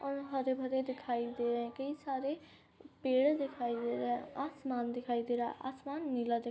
और हरे भरे दिखई दे रहे हैं कई सारे पेड़ दिखाई दे रहे हैं आसमान देखाई दे रहे है आसमान नीला --